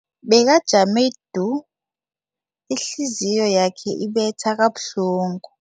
Bekajame du, ihliziyo yakhe ibetha kabuhlungu.